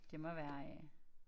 Det må være øh